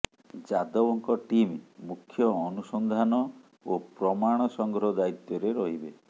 ଯାଦବଙ୍କ ଟିମ୍ ମୁଖ୍ୟ ଅନୁସନ୍ଧାନ ଓ ପ୍ରମାଣ ସଂଗ୍ରହ ଦାୟିତ୍ୱରେ ରହିବେ